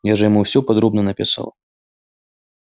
я же ему всё подробно написал